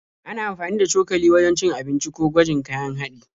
Ana amfani da cokali wajen cin abinci ko gwajin kayan haɗi.